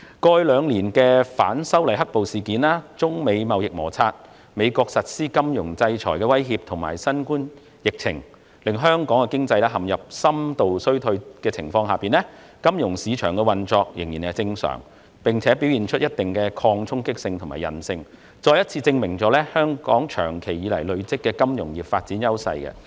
過去兩年，儘管反修例"黑暴"事件、中美貿易摩擦，美國實施金融制裁的威脅及新冠疫情令香港經濟陷入深度衰退，但金融市場仍正常運作，並且展現一定的抗衝擊性和韌性，再次證明香港長期發展金融業所積累的優勢。